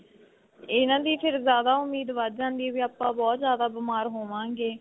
ਇਹਨਾ ਦੀ ਫ਼ਿਰ ਜਿਆਦਾ ਉਮੀਦ ਵੱਧ ਜਾਂਦੀ ਏ ਵੀ ਆਪਾਂ ਬਹੁਤ ਜਿਆਦਾ ਬੀਮਾਰ ਹੋਵਾਂਗੇ.